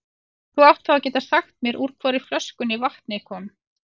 Þú átt þá að geta sagt mér úr hvorri flöskunni vatnið kom.